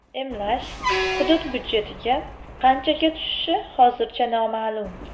Emlash hudud budjetiga qanchaga tushishi hozircha noma’lum.